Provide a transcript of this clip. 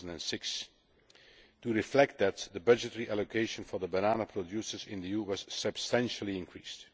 in 2006. To reflect that, the budgetary allocation for the banana producers in the EU was substantially increased.